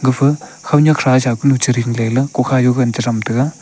gafa konyak thasa kunu chiding ley la kokha yuh gagan chi tham taga.